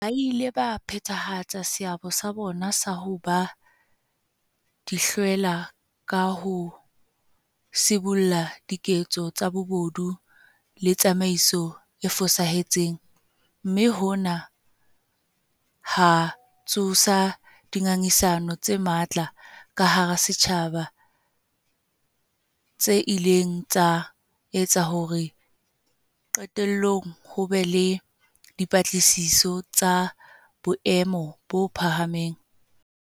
Ba ile ba phethahatsa seabo sa bona sa ho ba dihlwela ka ho sibolla diketso tsa bobodu le tsamaiso e fosahetseng, mme hona ha tsosa dinga ngisano tse matla ka hara setjhaba tse ileng tsa etsa hore qetellong ho be le dipatlisiso tsa boemo bo phahameng.